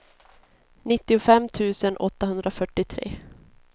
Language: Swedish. nittiofem tusen åttahundrafyrtiotre